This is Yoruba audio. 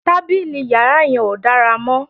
Tábìlì yàrá yẹn ò dára mọ́